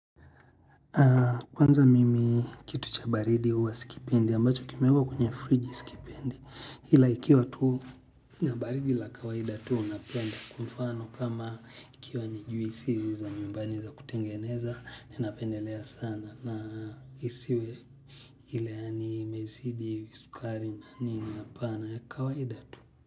Kwanza mimi kitu cha baridi huwa sikipendi ambacho kimeekwa kwenye friji sikipendi ila ikiwa tuu niya baridi la kawaida tuu napenda kwa mfano kama ikiwa nijuisi za nyumbani za kutengeneza. Ninapendelea sana na isiwe ila yaani imezidi, sukari na nini apana ya kawaida tuu.